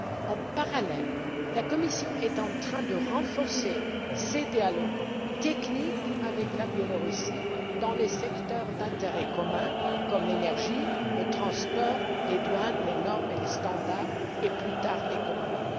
En parallèle, la Commission est en train de renforcer ses dialogues techniques avec le Belarus dans les secteurs d'intérêt commun comme l'énergie, le transport, les douanes, les normes et les standards, et plus tard l'économie.